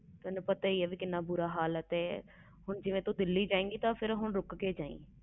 ਤੈਨੂੰ ਪਤਾ ਹੀ ਆ ਕਿੰਨਾ ਬੁਰਾ ਹਾਲ ਆ ਹੁਣ ਦਿੱਲੀ ਜਾਏ ਗਈ ਤੇ ਰੁਕ ਕੇ ਜਾਈ